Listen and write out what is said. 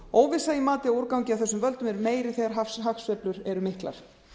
óvissa í mati á úrgangi af þessum völdum er meiri þegar hagsveiflur eru miklar